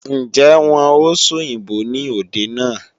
Ǹjẹ́ wọn ó sòyìnbó ní òde náà?